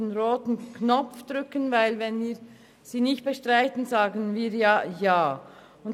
Wenn wir diese nicht bestreiten, sagen wir faktisch Ja dazu.